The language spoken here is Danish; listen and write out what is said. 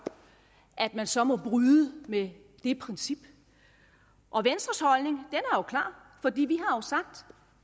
at man så må bryde med det princip og venstres holdning er jo klar fordi vi har jo sagt